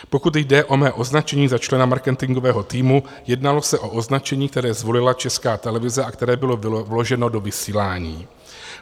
Pokud jde o mé označení za člena marketingového týmu, jednalo se o označení, které zvolila Česká televize a které bylo vloženo do vysílání.